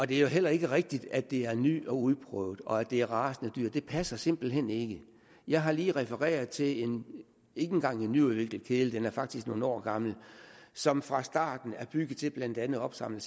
det er jo heller ikke rigtigt at det her er nyt og uprøvet og at det er rasende dyrt det passer simpelt hen ikke jeg har lige refereret til en ikke engang nyudviklet kedel den er faktisk nogle år gammel som fra starten er bygget til blandt andet at opsamle